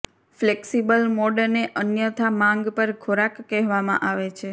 flexible મોડને અન્યથા માંગ પર ખોરાક કહેવામાં આવે છે